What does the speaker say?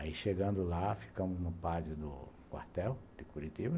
Aí, chegando lá, ficamos num padre do quartel de Curitiba.